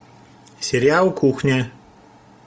сериал кухня